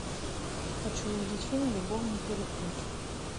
хочу увидеть фильм любовный переплет